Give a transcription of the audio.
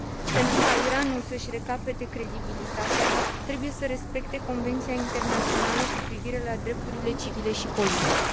Pentru ca Iranul să și recapete credibilitatea, trebuie să respecte Convenția internațională cu privire la drepturile civile și politice.